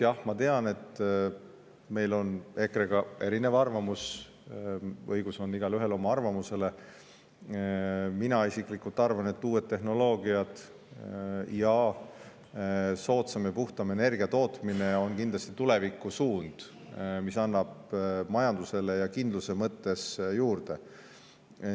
Jah, ma tean, et meil on EKRE-ga erinev arvamus – igaühel on õigus oma arvamusele –, aga mina isiklikult arvan, et uued tehnoloogiad ning soodsama ja puhtama energia tootmine on kindlasti tulevikusuund, mis annab majandusele kindlust juurde.